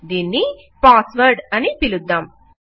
దీన్ని password అని పిలుద్దాం